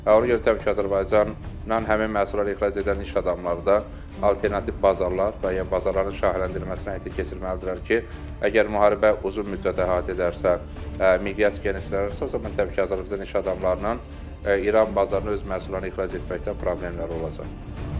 Ona görə təbii ki, Azərbaycannan həmin məhsullar ixrac edən iş adamları da alternativ bazarlar və ya bazarların şaxələndirilməsini həyata keçirməlidirlər ki, əgər müharibə uzun müddət əhatə edərsə, miqyas genişlənərsə, o zaman təbii ki, Azərbaycan iş adamlarına İran bazarına öz məhsullarını ixrac etməkdə problemlər olacaq.